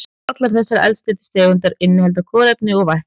Allar þessar eldsneytistegundir innihalda kolefni og vetni.